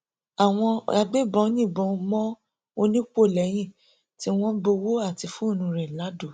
àwọn agbébọn yìnbọn mọ ọni pọ lẹyìn tí wọn gbowó àti fóònù rẹ lado